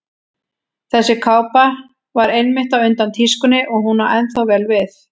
Þessi kápa var einmitt á undan tískunni og hún á ennþá vel við.